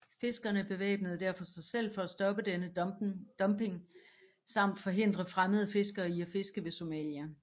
Fiskerne bevæbnede derfor sig selv for at stoppe denne dumpning samt forhindre fremmede fiskere i at fiske ved Somalia